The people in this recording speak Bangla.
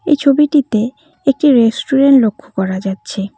এই ছবিটিতে একটি রেস্টুরেন্ট লক্ষ করা যাচ্ছে।